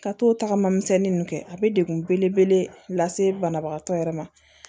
Ka t'o tagama misɛnnin ninnu kɛ a bɛ dekun belebele lase banabagatɔ yɛrɛ ma